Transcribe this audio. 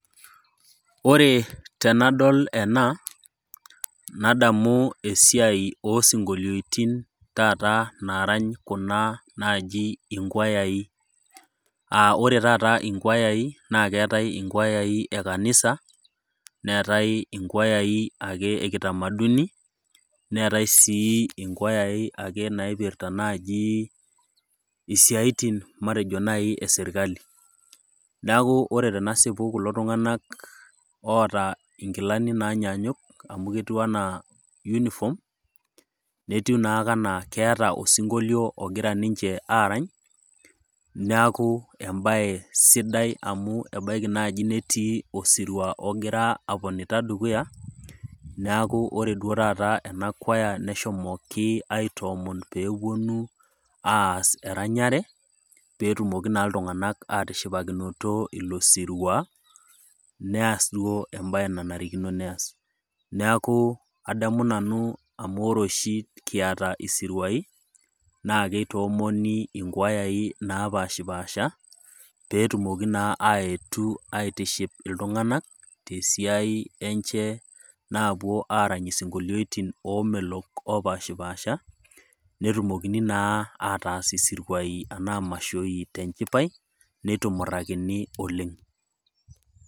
Ore tenadol ena nadamu esiai osinkolioitin taata naarany kuna naaji inkwayai. [Aa] ore taata inkwayai naakeetai inkwayai e kanisa, neetai inkwayai ake e kitamaduni, neetai ake sii inkwayai ake naipirta najii isiaitin matejo nai e sirkali. Neaku ore tenasipu kulo tung'anak oota inkilani naanyanyuk amu ketiu anaa yunifom netiu naa kanaa keeta osinkolio ogira ninche aarany neaku embaye sidai amu ebaiki naji netii osirua ogira aponita dukuya, neaku ore duo tata ena kwaya neshomoki aitoomon peepuonu aas eranyare peetumoki naa iltung'anak aatishipakinoto ilo sirua neas duo embaye nanarikino neas. Neaku adamu nanu amu ore oshi kiata isiruai naakeitoomoni inkwayai naapashipasha peetumoki naa aetu aitiship iltung'anak tesiai enche naapuo aarany isinkolioitin oomelok oopashpaasha netumokini naa ataas isiruai anaa mashoi tenchipai, neitumurrakini oleng'.